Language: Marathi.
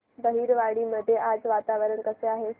बहिरवाडी मध्ये आज वातावरण कसे आहे